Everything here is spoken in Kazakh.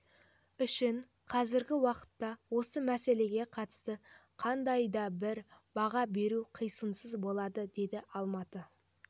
үшін қазіргі уақытта осы мәселеге қатысты қандай да бір баға беру қисынсыз болады деді алматы